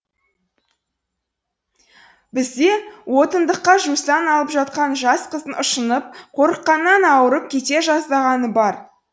бізде отындыққа жусан алып жатқан жас қыздың ұшынып қорыққаннан ауырып кете жаздағаны бар